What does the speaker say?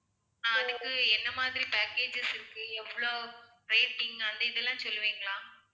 ஆஹ் அதுக்கு என்ன மாதிரி packages இருக்கு எவ்ளோ rating அந்த இதெல்லாம் சொல்லுவிங்களா